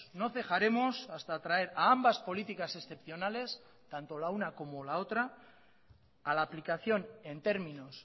no cejaremos hasta traer a ambas políticas excepcionales tanto la una como la otra a la aplicación en términos